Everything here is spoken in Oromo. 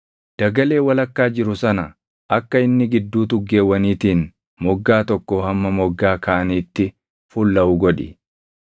Dagalee walakkaa jiru sana akka inni gidduu tuggeewwaniitiin moggaa tokkoo hamma moggaa kaaniitti fullaʼu godhi.